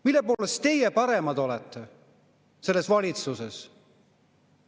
Mille poolest teie selles valitsuses paremad olete?